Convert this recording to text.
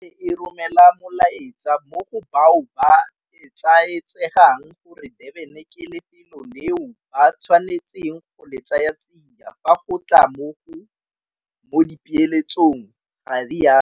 Gape e romela molaetsa mo go bao ba etsaetsegang gore Durban ke lefelo leo ba tshwanetseng go le tsayatsia fa go tla mo dipeeletsong, ga rialo.